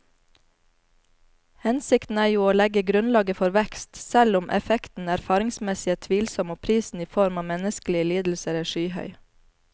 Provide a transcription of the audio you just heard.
Hensikten er jo å legge grunnlaget for vekst, selv om effekten erfaringsmessig er tvilsom og prisen i form av menneskelige lidelser er skyhøy.